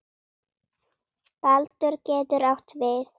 Baldur getur átt við